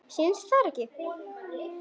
Sýnist þér það ekki?